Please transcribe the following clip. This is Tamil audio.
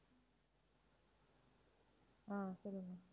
ஆஹ் சொல்லுங்க